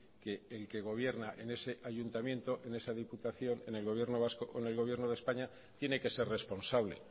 que el que gobierna en ese ayuntamiento en esa diputación en el gobierno vasco o en el gobierno de españa tiene que ser responsable